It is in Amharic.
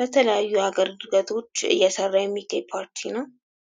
ለተለያዩ አገልግሎቶች እየሰራ የሚገኝ ፓርቲ ነው።